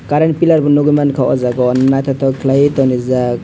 current piller bo nogoi mangka o jaga o naitotok kelaioe tongrijak.